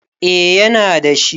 eh yana da shi